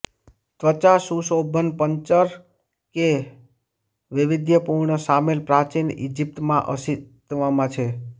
ત્વચા સુશોભન પંચર કે વૈવિધ્યપૂર્ણ શામેલ પ્રાચીન ઇજીપ્ટ માં અસ્તિત્વમાં છે